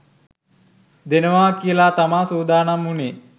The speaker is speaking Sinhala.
දෙනවා කියලා තමා සූදානම් වුණේ